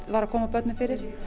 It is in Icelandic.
var að koma börnum fyrir